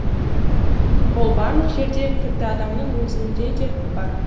ол барлық жерде тіпті адамның өзінде де бар